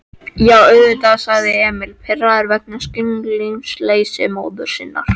Já, auðvitað, sagði Emil, pirraður vegna skilningsleysis móður sinnar.